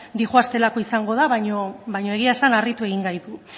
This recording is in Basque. doazelako da baina egia esan harritu egin gaitu